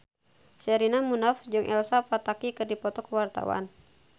Sherina Munaf jeung Elsa Pataky keur dipoto ku wartawan